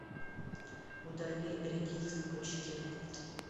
удали редис в пучке